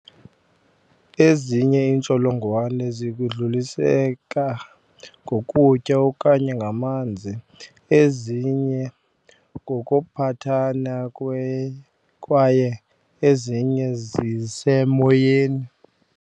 Ezinye iintsholongwane zidluliseka ngokutya okanye ngamanzi, ezinye ngokuphathana kwaye ezinye zisemoyeni.